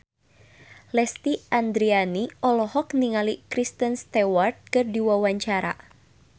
Lesti Andryani olohok ningali Kristen Stewart keur diwawancara